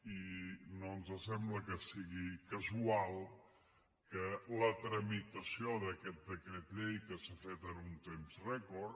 i no ens sembla que sigui casual que la tramitació d’aquest decret llei que s’ha fet en un temps rècord